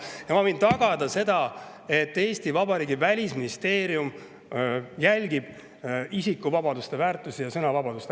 Ja ma võin tagada, et Eesti Vabariigi välisministeerium isikuvabadusi, väärtusi ja sõnavabadust.